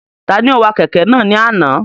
Ta ni ó wa kẹ̀kẹ́ náà ni àná?